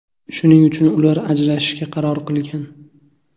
Shuning uchun ular ajrashishga qaror qilgan.